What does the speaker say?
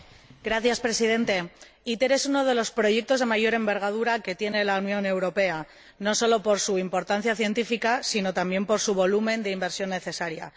Señor Presidente, ITER es uno de los proyectos de mayor envergadura que tiene la Unión Europea, no solo por su importancia científica, sino también por su volumen de inversión necesaria.